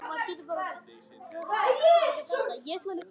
Listina að lifa vel.